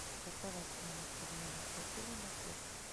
какова стоимость обмена шекелей на песо